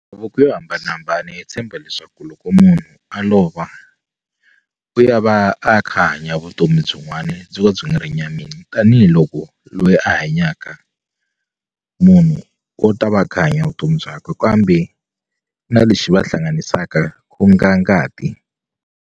yo hambanahambana yi tshemba leswaku loko munhu a lova u ya va a kha a hanya vutomi byin'wani byo ka byi nga ri nyameni tanihiloko loyi a hanyaka munhu u ta va a kha a hanya vutomi byakwe kambe na lexi va hlanganisaka ku nga ngati.